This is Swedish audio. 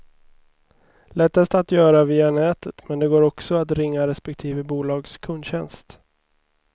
Lättast att göra via nätet men det går också att ringa respektive bolags kundtjänst.